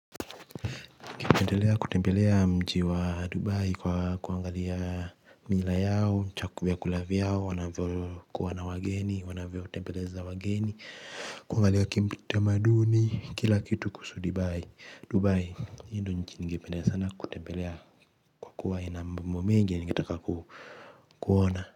Kutembelea mji wa dubai kwa kuangalia mila yao vyakula vyao wanavyokuwa na wageni wanavyo bembeleza wageni kuangalia kitamaduni kila kitu kuhusu dubai dubai hiyo ndiyo nchi ningependa sana kutembelea kwa kuwa ina mambo mengi ningetaka kuona.